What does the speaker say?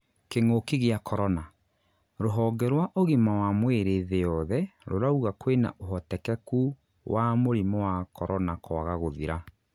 kĩng'ũki gĩa Korona: rũhonge rwa ũgima wa mwĩrĩ thĩ yothe rurauga kwĩna ũhotekeku wa mũrimũ wa Korona kwaga gũthira